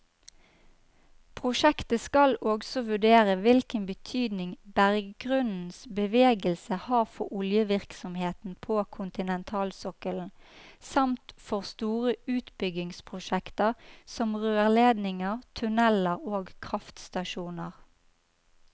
Prosjektet skal også vurdere hvilken betydning berggrunnens bevegelse har for oljevirksomheten på kontinentalsokkelen, samt for store utbyggingsprosjekter som rørledninger, tunneler og kraftstasjoner.